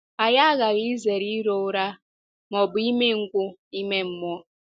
Anyị aghaghị izere iro ụra ma ọ bụ umengwụ ime mmụọ.